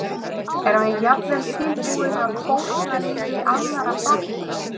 Erum við jafnvel tilbúin að fórna lífi annarra barna?